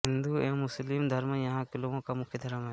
हिंदू एवं मुस्लिम धर्म यहाँ के लोगों का मुख्य धर्म है